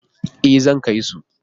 E, zan kai su.